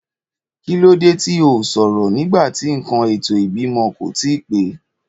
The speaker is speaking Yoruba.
Kílódé tí o sòrò nígbàtí nkan ètò ìbímọ kò tíì pé